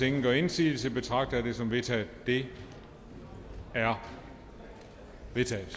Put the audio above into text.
ingen gør indsigelse betragter jeg det som vedtaget det er vedtaget